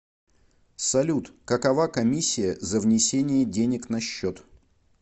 салют какова комиссия за внесение денег на счет